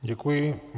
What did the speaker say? Děkuji.